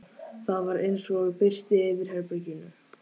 Það var eins og birti yfir herberginu.